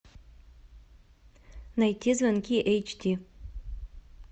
найти звонки эйч ди